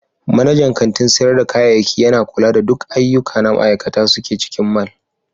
Manajan kantin sayar da kayayyaki yana kula da duk ayyuka da ma'aikata suke cikin mall.